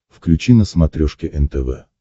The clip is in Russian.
включи на смотрешке нтв